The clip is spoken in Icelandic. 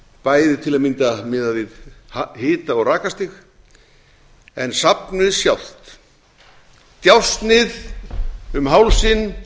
bæði til að mynda miðað við hita og rakastig en safnið sjálft djásnið um hálsinn